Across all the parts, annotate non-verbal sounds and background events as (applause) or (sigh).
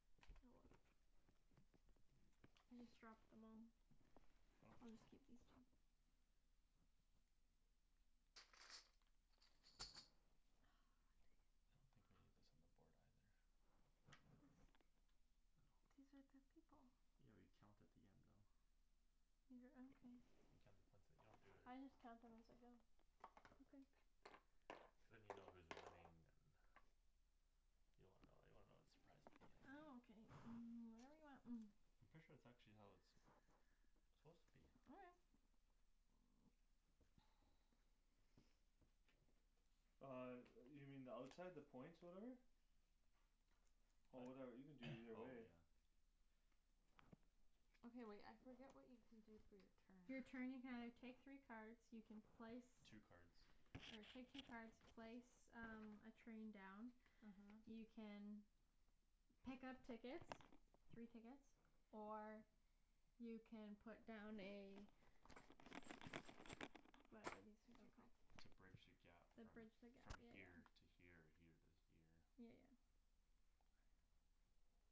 oh well I just (noise) dropped them all I don't I'll just oh keep these (inaudible) two ah dang I don't think it we need this on the board either this no these are the people yeah we count at the end though you're (inaudible) you count the points at you don't do it I just count them as I go okay cuz than you know who's winning and you don't wanna know you wanna know the surprise at the end ah ok um whatever you want I'm pretty sure that's actually how it suppose to be okay uh yo- you mean the outside the points whatever oh what whatever you can do either (noise) oh way yeah okay wait I forget what you can do for your you're turn turn you can either take three cards you can place two cards or take two cards place um a train down uh-huh you can pick up tickets three tickets or you can put down a whatever these things are okay called to bridge the gap the from bridge the gap from yeah yeah here to here or here to here yeah yeah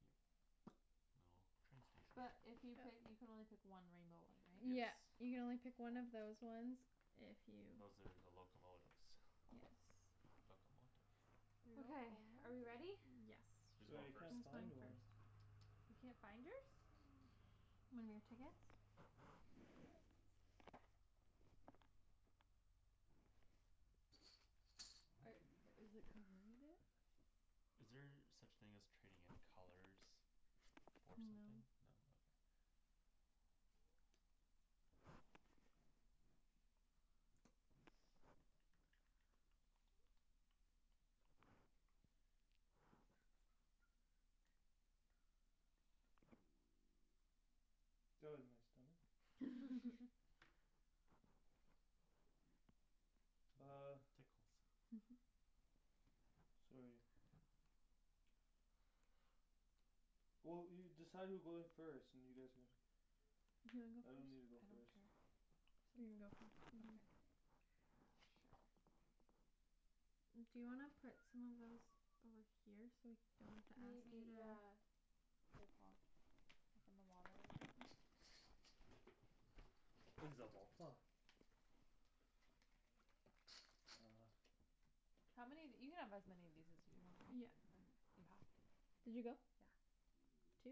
yeah (noise) a little train station but if you pick you can only pick one rainbow one right? yes yeah you can only pick one of those ones if you those are the locomotives yes locomotive okay are we ready locomotive yes who's going who's (inaudible) I first can't going find first? one you can't find yours? are i- is it behind it? is there such thing as trading in colors? for something no no okay (noise) (noise) that was my stomach (laughs) (laughs) (noise) oh tickles sorry (noise) well you decide who goes first and you guys can do you I don't need to wanna go go I first don't first care you can go first okay sure do you wanna put some of those over (noise) here so we don't have to maybe ask you yeah to here Paul like in the water over there (noise) (inaudible) uh how many of you can have as many of these as you want yeah right (inaudible) you have to did you go yeah two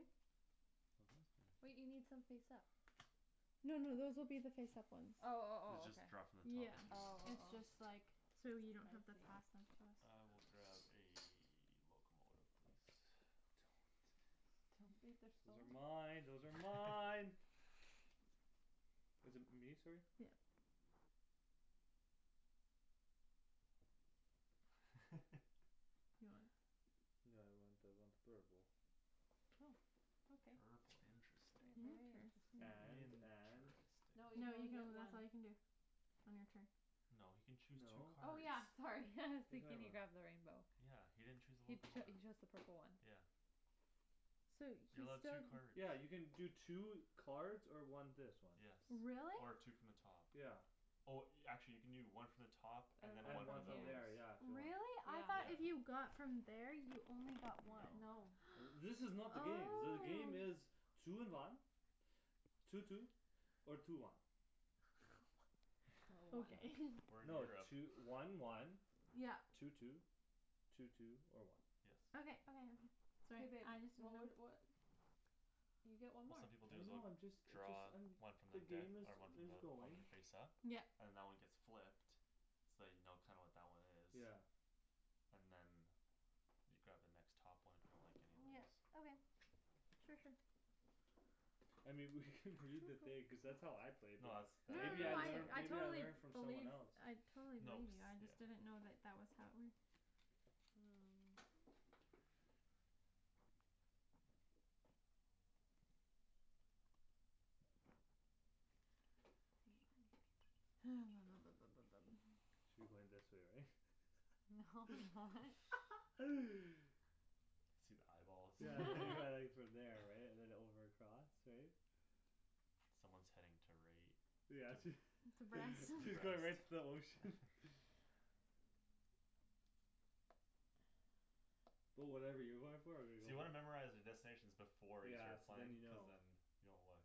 (inaudible) wait you need some face up no no those will be the face up ones oh oh you oh okay just draw from the top yeah if you wan- oh it's oh just oh like so you I don't have to see pass them to us I will grab a locomotive please those are (inaudible) mine those are mine (laughs) is it me sorry? yeah you want (laughs) (inaudible) no I want I want purple purple interesting interesting and and no no interesting you can you only can get only that's one all you can do on your turn no he can choose two no oh cards yeah (laughs) sorry what (laughs) you see talking can you about grab the rainbow yeah he didn't chose a He cho- he locomotive chose the purple one yeah so he's you're still allowed two cards yeah you can do two cards or one this one yes really? or two from the top yeah oh actually you can do one from the top and and than one and one one from from from those here there yeah if you want really? I though if yeah yeah you got from there you only got no one no uh this (noise) is not the game the oh game is two in one two two or two one (noise) or one okay (laughs) we're in no Europe two- one one (noise) yeah two two two two or one yes okay okay okay hey sorry babe I just didn't what know wou- what you get one what more some people do I is they'll know I'm just a just draw I'm one from the the deck game is or one from is the one going the face up yep and that one gets flipped so you know kinda what that one is yeah and then you grab the next top one if you don't like any of yeah those okay sure sure I mean we could (laughs) read the thing cuz that's how I played it no that's no that i- maybe no I no that I is learn I maybe how I totally believe I learned from someone else totally no believe cuz you I yeah just didn't know that that was how it works um hang on (noise) ha (noise) should be going this way right? no why (noise) (laughs) see the eyeballs yeah there you go (laughs) (inaudible) (laughs) from there right and then over across right someone's heading to right yeah to she (laughs) she's (inaudible) going right to the (inaudible) ocean (laughs) (noise) but whatever you're going for I'm gonna so go you wanna memorize for the destinations before you yeah start so then playing you cuz know then you don't look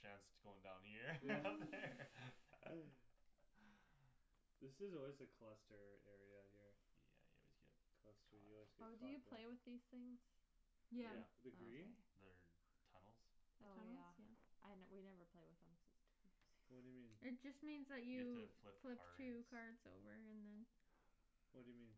Shands going down here (laughs) yeah over there (laughs) (laughs) (noise) this is always a cluster area here yeah you always get cluster caught you always up get oh do caught you there play with these things? the yeah yeah the oh green okay they're tunnels the oh yeah tunnels yeah I we never play with them cuz it's too time what'd you mean consuming (laughs) it just means that you have you to flip flip cards two card over and then what'd you mean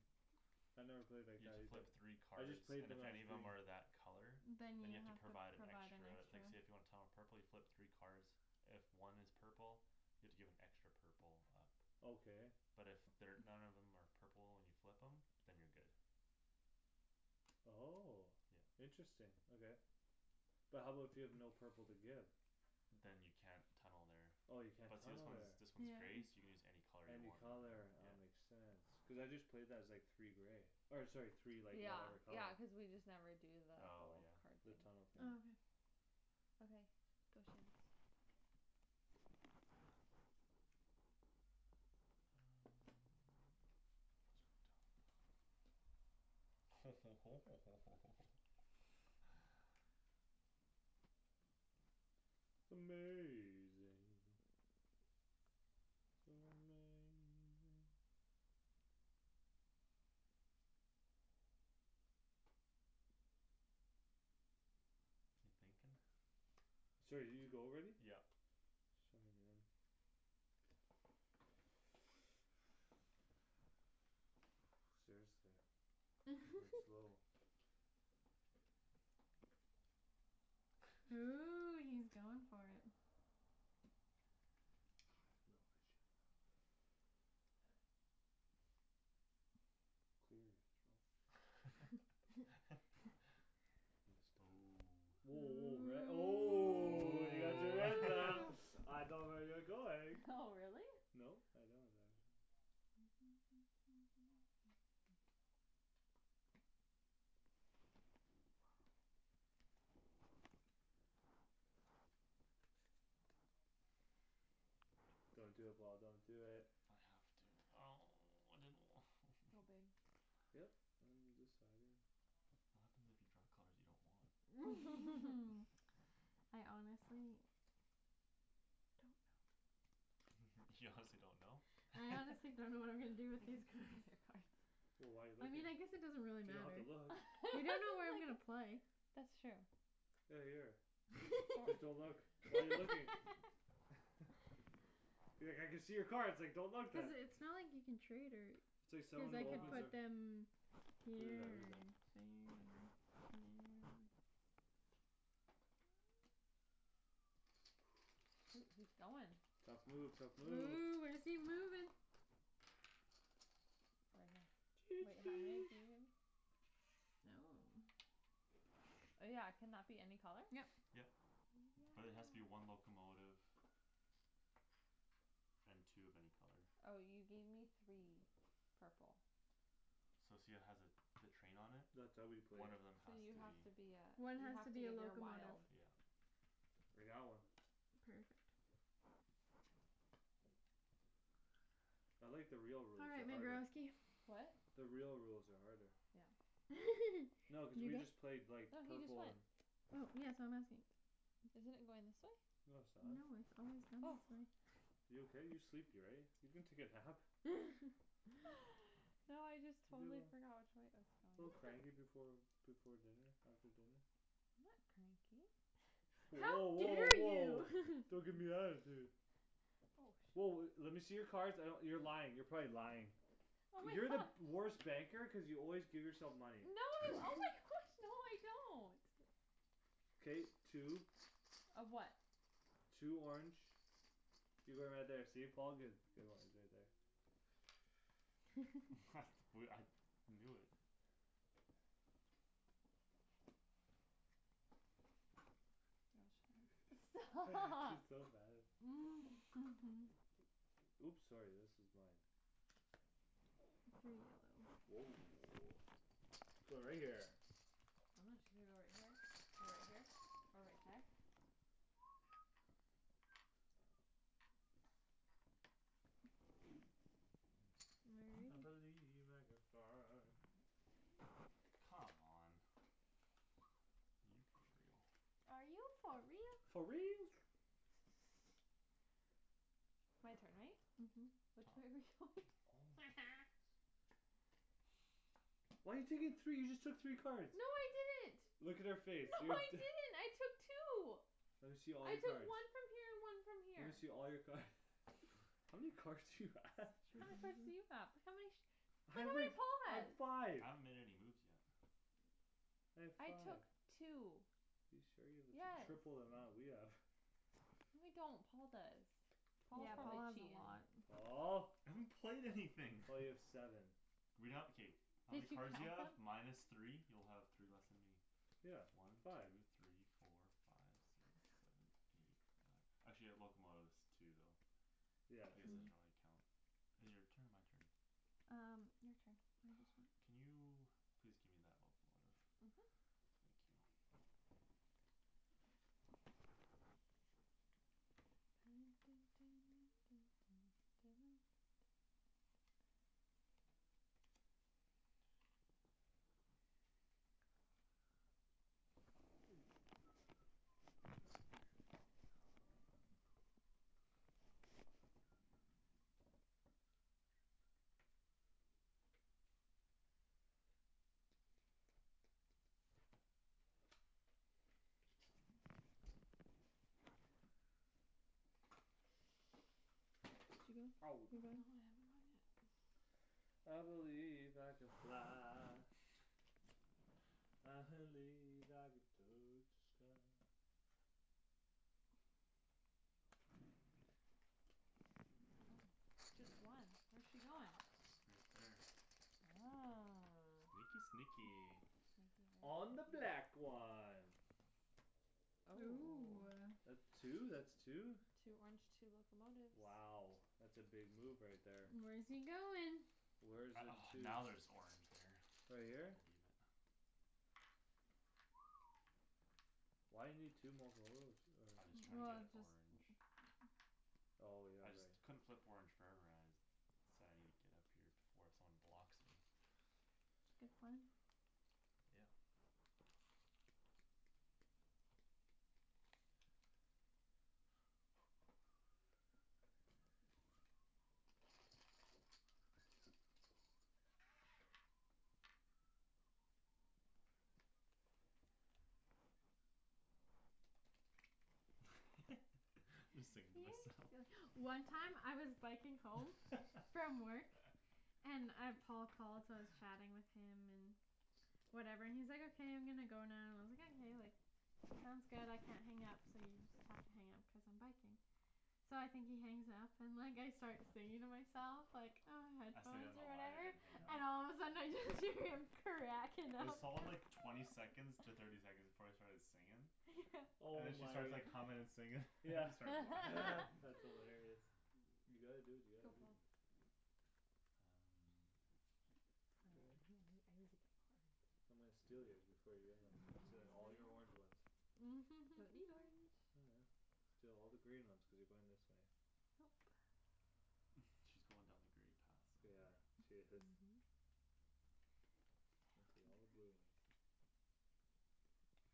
I never played like you have that to either flip three I cards just played and them if as any of green them are that color then you than you have have to to provide provide an extra like an say extra if you want Tom a purple you flip three cards if one is purple you have to give an extra purple up okay but if they're none of them are purple and you flip them than you're good oh yeah interesting okay but how about if you have no purple to give than you can't tunnel there oh you can't but see this tunnel one's there this one's yeah gray so you can use any color you any want color yeah ah makes sense cuz I just played that as like three gray or sorry three like yeah whatever color yeah cuz we just never do the oh whole yeah card the thing tunnel thing oh okay okay go Shands um lets go on top ho ho ho ho ho ho ho (laughs) amazing so amazing you thinking sorry did you go already yeah sorry man (noise) seriously I'm slow (laughs) ooh he's going for it I don't know if I should or not clear your throat (laughs) (inaudible) oh woah woah red oh oh ooh (inaudible) (laughs) I know where you're going oh (laughs) really no I don't actually (noise) (noise) don't do it Paul don't do it I have to oh I didn't wa- (noise) go babe yup I'm deciding what happens if you draw colors you don't want (laughs) (laughs) I honestly don't know (laughs) you honestly don't know I honestly don't know what I'm gonna do I can (laughs) (laughs) with these see all cards your card wh- why you looking you don't have to look you don't know where I'm gonna play (laughs) that's true hey here fo- just don't look why you looking (laughs) (laughs) be like I can see your cards like don't look cuz then it's not like you can trade her it's like cuz someone who I can opens put their no them who's here that or who's that there I drew or there (noise) shoot he's going tough move tough move ooh where's he moving right choo here wait how many choo do you oh yeah can that be any color yep yep but it has to be one locomotive and two of any color oh you gave me three purple So see how it has a the train on it that's how we play one of them so has you to have be to be ah one you has to have to be a give your locomotive wild yeah like that one perfect I like the real all rules right they're my harder girlsky what the real rules are harder yeah (laughs) no cuz did you we just go played like no he just purple went and oh yeah so I'm asking isn't it going this way? no no it's not it's always gone oh this way you okay you're sleepy right you can take a nap (laughs) (laughs) no I just totally forgot (inaudible) which way it was a little going cranky before before dinner after dinner I'm not cranky how woah woah dare woah you don't gimme (laughs) attitude oh woah le- shit lemme see your cards I d- you're lying you're probably lying oh my you're the gosh worst banker cuz you always give yourself No. money Oh my (noise) gosh! No, no, I don't. K, two. Of what? Two orange. You're going right there. See Paul, good. (inaudible) (laughs) (noise) I knew it. (inaudible) (inaudible) Stop. (laughs) She's (laughs) so mad at (laughs) Oops, sorry. This is mine. Three yellow. Woah, going right there. I'm not su- Should I go right here? Or right here? Or right there? (noise) (noise) I (inaudible) believe I (inaudible) Come on. (noise) Are you for real? Are you for For real real? (noise) (laughs) My turn, right? Mhm. Which way (laughs) are (inaudible) we going? Oh, my goodness. (noise) Why you taking three? You just took three No, cards. I didn't. Look at her face No, I (inaudible) didn't, I took two. Lemme see all I your took cards. one from here and one from Lemme see here. all your card (laughs) How many cards do you have? How many cards do (inaudible) you have? How many? Hey, wait, I have (inaudible) five. I haven't made any moves yet. I have I five. took two. You sure you the t- Yes. triple the amount we have (laughs) No, I don't. Paul does. Paul's Yeah, Paul Paul, probably has a cheatin'. lot. Paul. I haven't played anything (noise) Well, you have seven. Read out, okay. How many Did you cards do you count have? them? Minus three? You'll have three less than me. Yeah, One, five. two, three, four, five Six, (laughs) seven, eight, nine. actually I have locomotives too though. Yeah, I guess true. I Hmm should only count Is it your turn or my turn? Um, your turn I God, just went. can you please give me that locomotive. Mhm. Thank you. (noise) (noise) (noise) Did you go? Ow. No, You I going? haven't gone yet. (noise) I believe I can fly. (laughs) I believe I can touch the sky. Okay. Oh, just one? Where's she goin'? Right there. Oh. Sneaky, sneaky. (noise) Sneaky, very On the black (inaudible) one. Ooh, Oh. ah. That two, that's two. Two orange, two locomotives. Wow. That's a big move right there. Where's he goin'? Where's I, in oh, two? now there's orange there. Right here? I believe it. (noise) Why you need two mocolotives or I just tryin' to Well, get just (noise) orange. Oh, yeah, I just right. couldn't flip orange (inaudible) So I need to get up here before someone blocks me. It's a good plan. Yeah. (noise) (laughs) Just You singing to myself. sill- One time I was biking home from work and uh Paul called, so I was (laughs) chatting with him and whatever and he's like, "okay I'm gonna go now" and I was like, "Okay, sounds good I can't hang up so you just have to hang up because I'm biking." So I think he hangs up and like I start singing to myself like, ah, I stayed on headphones the or line I whatever didn't hang up. And all of a sudden I just hear him cracking up there's all like cuz twenty second to thirty seconds (laughs) before I started singin' Yeah. And Oh then she my. starts like hummin' and singin' (laughs) and Yeah I start laughing. (laughs) (laughs) that's (laughs) hilarious. You gotta do what you Go gotta do. Paul. Um. Now I (noise) don't (inaudible) I need to get (inaudible) cards. I'm gonna steal yours before you get them. (laughs) I'm stealing all These your orange ones? ones. Don't need (laughs) orange. Oh, yeah. Steal all the green ones cuz you're going this way. Yup. (noise) She's going down the grey path Yeah, somewhere. she is. Mhm. (inaudible) all the blue ones. (inaudible)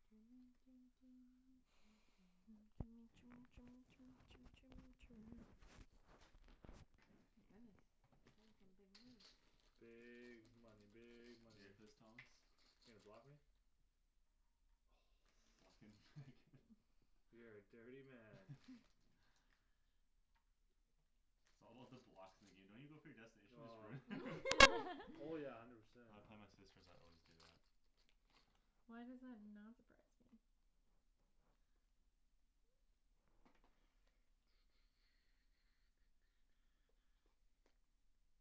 (noise) My goodness, he's playing some big moves. Big money, big money. (inaudible) Thomas You gonna block me? Blockin' where I (noise) can. (laughs) You're a dirty man. (noise) (laughs) It's all about the blocks. In the game don't you go for your destination, just Oh. ruin it. (laughs) (laughs) Oh, yeah, I (laughs) never said. When I play my sisters I always do that. Why does that not surprise me? (noise) (noise)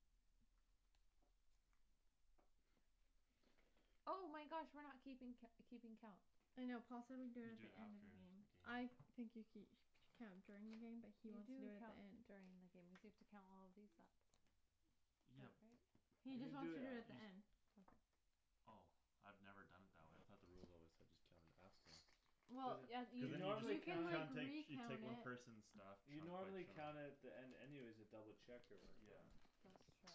Oh my gosh. We're not keeping co- keeping count. I know Paul said we could do You it do the it end of after the game. the game. I think you ke- Count during the game but he You wants to do do it at count the end. during the game cuz you have to count all of these up. Yeah. Like right He You can just do wants to it do it You at the af- just end. Okay. Oh. I've never done it that way. I thought the rules always said just count it after. There's Well Yeah, a you Cuz you then You can you I'm like just gonna count recount it at (inaudible) She take one it person's stuff. You Chunk know, I'm by gonna count chunk. it at the end anyways to double check your work Yeah. right That's (inaudible) true.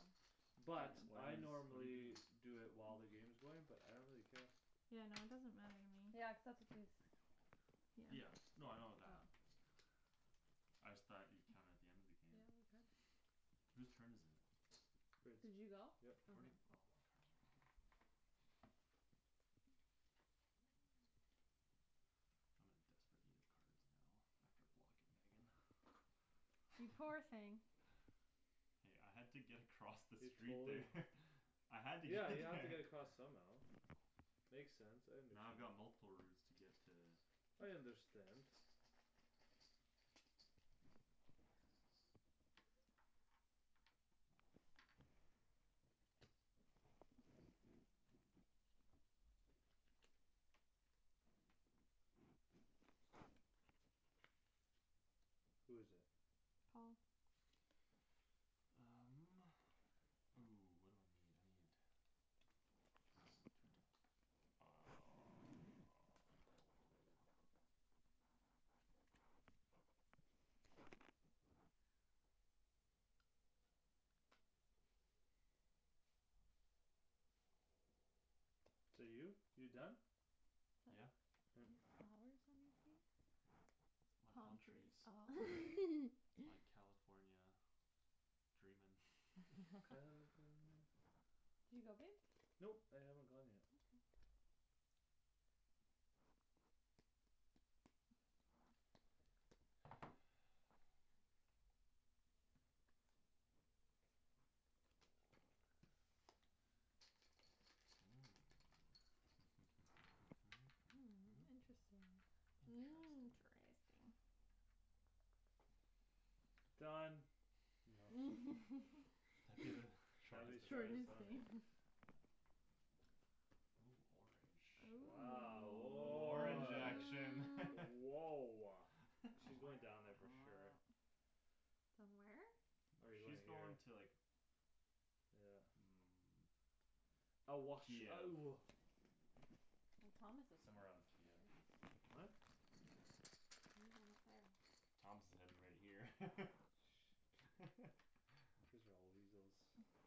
But Why I is- What are you normally doing? Do it while the game's going but I don't really care. Yeah, no, it doesn't matter to Yeah, me. cuz that's what these Yeah. Yeah, Yeah. no, I know that. Oh. I just thought you'd count it at the end of the game. Yeah, we could. (noise) (noise) Who's turn is it? Did (inaudible) you go? Yep. Where'd okay. oh my cards are here I'm in desperate need of cards now. After blocking Megan. (noise) You poor thing. (laughs) Hey, I had to get across the You street totally there. (laughs) I had to get Yeah, to you have to there get across somehow. (laughs) Makes sense, I Now I've understand. got multiple routes to get to I understand. Who is it? Paul. Um, ooh, what do I need? I need Two top (noise) no Is that you? You done? Is Yeah. that- You have (noise) flowers on your face? It's my Palm palm trees. Oh. trees. It's (laughs) my California dreamin' (laughs) (laughs) California Did you go babe? Nope, I haven't gone yet. Okay. (noise) Mm. Mm, interesting. (noise) Interesting. Interesting. Done. That'd be the (laughs) Shady's Shortest Shortest destina- shortest one, eh game. (laughs) ah. Ooh, orange, ooh, a Wow, little a little orange woah action (laughs) Ooh. Woah. All She's (laughs) going down there for sure. right. Done where? No, Or you going she's here? going to like Yeah. Mm. I wash, Kiev. oh Well, Thomas is Somewhere on Kiev. (inaudible) What? You're going up there. Thomas is heading right here. Shh don't (laughs) Cuz y'all weasels (noise)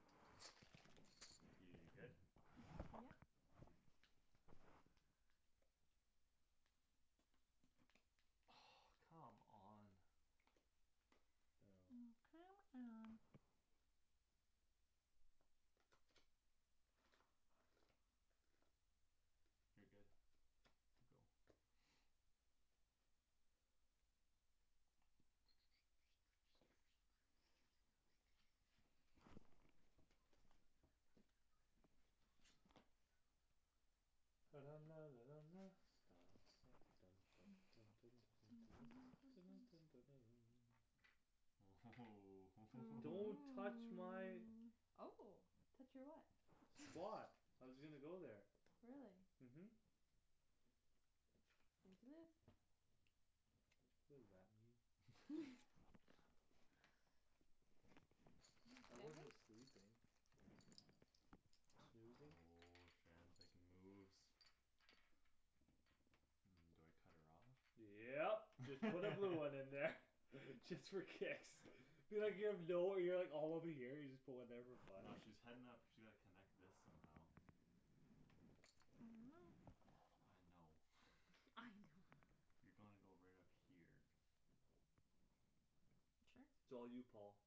You good? (noise) Yep. Oh, come on. Oh. Oh. Oh, come on. You're good to go (noise) (noise) (noise) (noise) Don't (noise) Ooh touch my hoo Oh, touch your what? Spot. (noise) I was gonna go there. Really? Mhm. Snooze you lose. What does that mean? (laughs) (laughs) (laughs) I wasn't (inaudible) sleeping. Snoozing. Woah, Shand's making moves. Um, do I cut her off? Yep, just put a blue one in there. (laughs) Just for kicks. (laughs) (inaudible) All over here. You just put one there for fun. No, she's heading up she like connect this somehow I don't know. I know. (noise) I don't. I know. You gonna go right up here. Sure. it's all you Paul.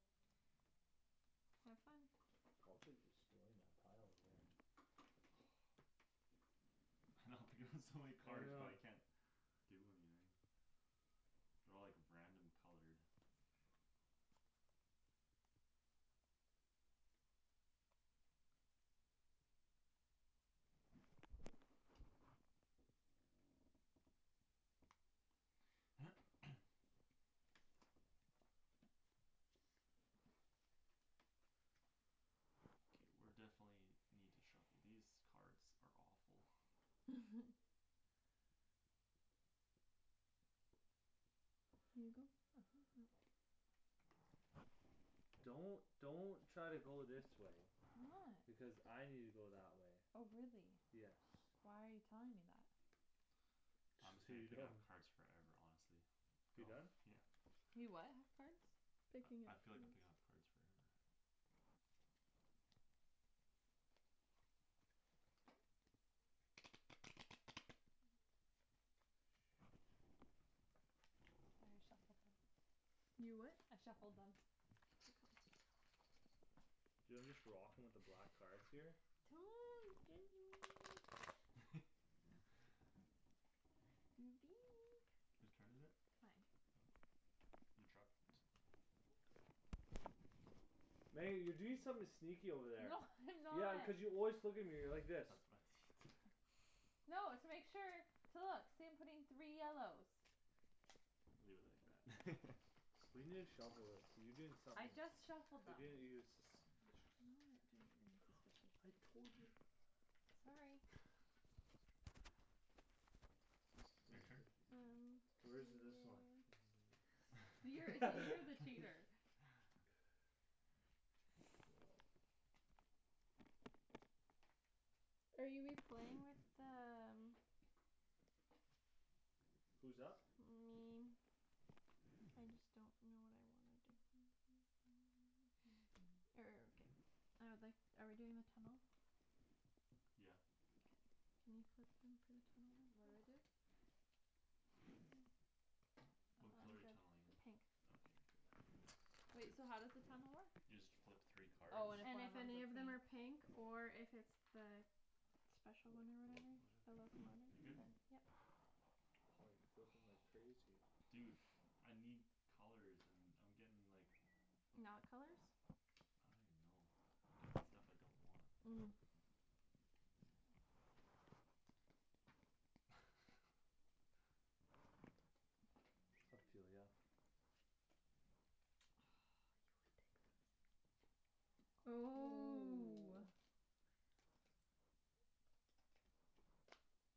Have fun. Paul's like destroying that pile over there. I know (laughs) I'm picking up so many I cards but know. I can't do anything. They're all like random colored. (noise) Okay, we're definitely need to shuffle. These cards are awful. (laughs) You go. Mhm. Don't don't try to go this way. I'm not. Because I need to go that way. Oh, really? Yes. Why are you telling me that? I'm Just just so gonna you pick know. up cards forever honestly. You done? Yeah. You what have cards? Picking I I up feel like I'm cards. picking up cards forever. Shoot. I already shuffled them. You what? I shuffled them. (inaudible) Do you know, I'm just rocking with the black (noise) cards here. (laughs) Who's turn is it? Mine. Oh. You dropped. Your card. Meg, you're doing something sneaky over there. No (laughs) I'm Yeah, not. cuz you always look at me like this. That's what I need. No, it's to make sure. To look. See I'm putting three yellows. Leave it like that We need to (laughs) shuffle it. Cuz you doing I somethin' just shuffled You're them. doin', you're suspicious. I'm not doing anything (noise) suspicious. I (inaudible) told you. Sorry. (noise) (laughs) Your Where's turn. th- Um, Where is yes. this one? (noise) You're see, you're the cheater. (laughs) (laughs) (inaudible) Are you we playing with the um who's up? Me. I just don't know what I wanna do. (noise) (noise) Er, ok, I would like- Are we doing the tunnel? Yeah. Okay. Can you put some for the tunnel then What do I please? do? Just take them. Oh, What Oh. I'm color are you tunneling in? good. Pink. Okay, you're good. (noise) Wait, so how does the tunnel work? You just flip three cards. Oh, and if And one of if 'em's a any of them pink are pink or if it's the Special one or The whatever locomotive. The locomotive You're good? then, yep. Paul you're flipping like Oh. crazy. Dude I need colors and I'm getting like Not colors I don't even know. I'm getting stuff I don't want. Mm. (laughs) (inaudible) Ah, you ridiculous. Ooh. Ooh.